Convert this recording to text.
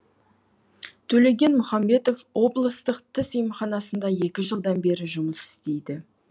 төлеген мұхамбетов облыстық тіс емханасында екі жылдан бері жұмыс істейді